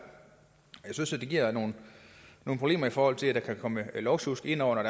jeg synes det giver nogle problemer i forhold til at der kan komme lovsjusk indover